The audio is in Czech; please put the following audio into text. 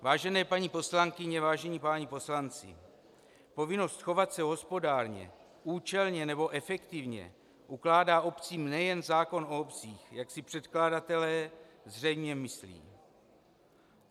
Vážené paní poslankyně, vážení páni poslanci, povinnost chovat se hospodárně, účelně nebo efektivně ukládá obcím nejen zákon o obcích, jak si předkladatelé zřejmě myslí.